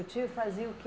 O tio fazia o quê?